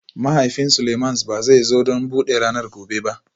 Mahaifin Seleimans ba zai zo don buɗe ranar gobe ba